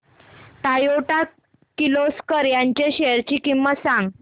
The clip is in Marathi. टोयोटा किर्लोस्कर च्या शेअर्स ची किंमत सांग